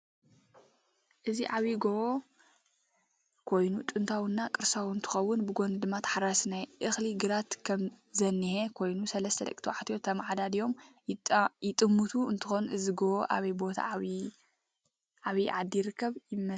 እዚ ዓብይ ጎቦ ኮይኑ ጥንታዊ እና ቁርሳዊ እንትከውን ብጎኑ ድማ ተሓራሲ ናይ እክሊ ግራት ከም ዝነህ ኮይኑ ሰልስተ ደቂ ተባዕትዮ ተማዓዳድዮም ይጥምቱ እንትኮኑ እዚ ጎቦ ኣበይ ቦታ ዓበይ ዓዲ ይርከብ ይመስለኩም?